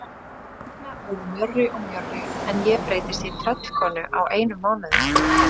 Nína verður mjórri og mjórri en ég breytist í tröllkonu á einum mánuði.